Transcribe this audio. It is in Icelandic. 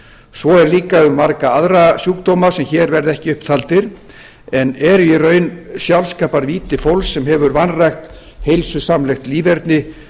svo er líka um marga aðra sjúkdóma sem hér verða ekki upp taldir en eru í raun sjálfskaparvíti fólks sem hefur vanrækt heilsusamlegt líferni